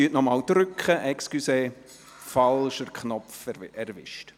Entschuldigen Sie, ich habe den falschen Knopf erwischt.